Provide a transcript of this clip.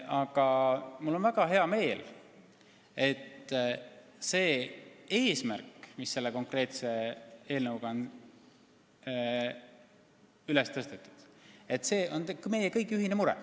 Aga mul on hea meel, et see eesmärk, mis selle konkreetse eelnõuga on seatud, on meie kõigi ühine mure.